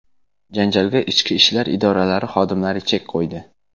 Janjalga ichki ishlar idoralari xodimlari chek qo‘ydi.